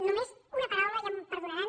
només una paraula ja em perdonaran